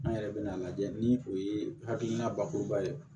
An yɛrɛ bɛ n'a lajɛ ni o ye hakilina bakuruba ye